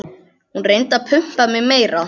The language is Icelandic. Hún reyndi að pumpa mig meira.